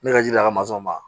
Ne ka jida ka masɔnw ma